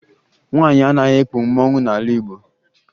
Nwaanyị anaghị ekpu mmanwụ n'ala Igbo